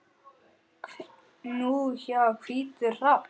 Nú já, hvítur hrafn.